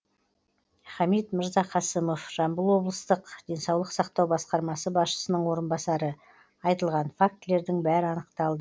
хамит мырзақасымов жамбыл облыстық денсаулық сақтау басқармасы басшысының орынбасары айтылған фактілердің бәрі анықталды